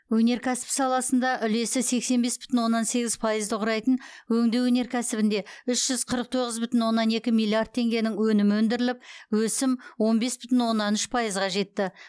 өнеркәсіп саласында үлесі сексен бес бүтін оннан сегіз пайызды құрайтын өңдеу өнеркәсібінде үш жүз қырық тоғыз бүтін оннан екі миллиард теңгенің өнімі өндіріліп өсім он бес бүтін оннан үш пайызға жетті